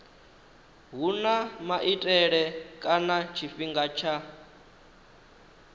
huna maitele kana tshifhinga tsha